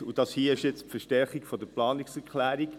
Dies hier ist jetzt die Verstärkung der Planungserklärung.